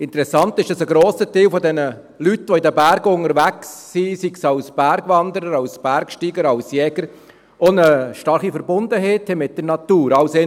Interessant ist, dass ein grosser Teil der Leute, die in den Bergen unterwegs sind, ob als Bergwanderer, Bergsteiger oder Jäger, auch eine starke Verbundenheit mit der Natur verspüren.